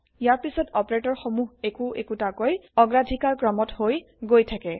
ইয়াৰ পিছত অপাৰেতৰ সমুহ একো একোতাকৈ অগ্ৰাধিকাৰ ক্ৰমত হৈ গৈ থাকে